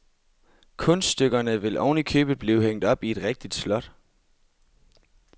Kunststykkerne vil ovenikøbet blive hængt op i et rigtigt slot.